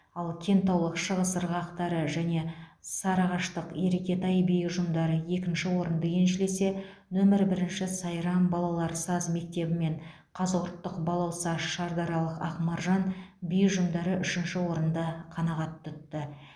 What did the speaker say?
ал кентаулық шығыс ырғақтары және сарыағаштық еркетай би ұжымдары екінші орынды еншілесе нөмір бірінші сайрам балалар саз мектебі мен қазығұрттық балауса шардаралық ақмаржан би ұжымдары үшінші орынды қанағат тұтты